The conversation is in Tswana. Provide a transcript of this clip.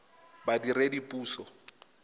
badiredipuso